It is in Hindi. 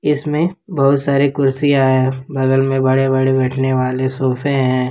इसमें बहुत सारे कुर्सियां है बगल में बड़े बड़े बैठने वाले सोफे हैं।